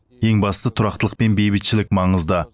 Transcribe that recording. ең бастысы тұрақтылық пен бейбітшілік маңызды